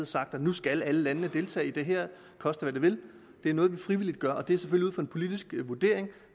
sagt at nu skal alle landene deltage i det her koste hvad det vil det er noget vi frivilligt gør og det er selvfølgelig ud fra en politisk vurdering af